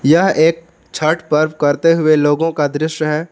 यह एक छठ पर्व करते हुए लोगों का दृश्य है।